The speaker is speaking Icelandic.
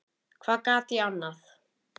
Hvað gat ég annað?